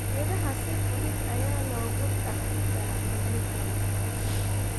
Idaha si fudud ayaa loogu dhaqdaa miyiga.